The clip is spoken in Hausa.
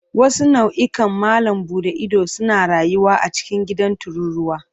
Wasu nau'ikan malam buɗe ido suna rayuwa a cikin gidan tururuwa.